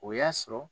O y'a sɔrɔ